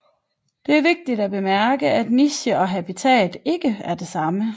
Det er vigtigt at bemærke at niche og habitat ikke er det samme